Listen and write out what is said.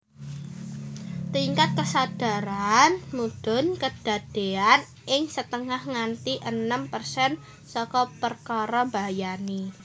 Tingkat kesadaran mudhun kedadean ing setengah nganti enem persen saka perkara mbahayani